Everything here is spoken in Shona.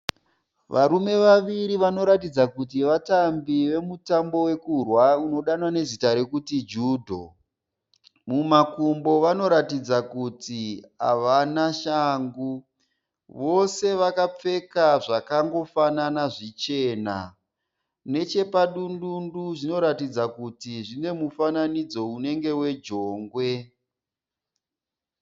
Varume vaviri vanoratidza kuti vatambi vemutambo wekurwa unodanwa nezita rekuti Judho. Mumakumbo vanoratidza kuti havana shangu. Vose vakapfeka zvakangofanana zvichena. Neche padundundu zvinoratidza kuti zvine mufananidzo unenge wejongwe.